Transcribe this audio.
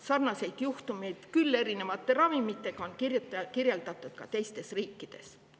Sarnaseid juhtumeid, küll erinevate ravimitega, on kirjeldatud ka teistes riikides.